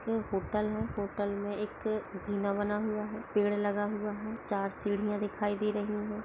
Hotel मे hotel मे एक जीना बना हुआ है पेड़ लगा हुआ है चार सिडिया दिखाई दे रही है।